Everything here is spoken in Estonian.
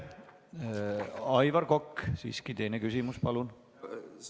Aivar Kokk, teine küsimus palun!